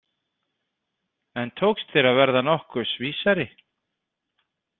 En tókst þér að verða nokkurs vísari?